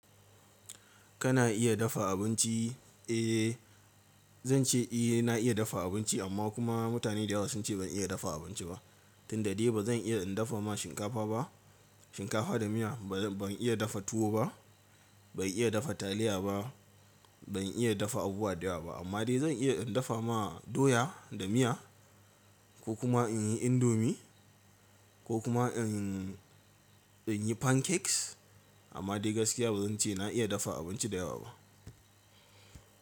Kana iya dafa abinci? Eh! Zan ce eh na iya dafa abinci amma kuma mutane da yawa sun ce ban iya dafa abinci ba. Tun da dade ba zan iya in dafa ma shinkafa ba, shinkafa da miya. Ban iya dafa tuwo ba, ban iya dafa taliya ba, ban iya dafa abubuwa da yawa ba. Amma dai zan iya in dafa ma doya da miya ko kuma in yi indomie ko kuma in, in yi pancakes. Amma dai gaskiya ba zan ce na iya dafa abinci da yawa ba.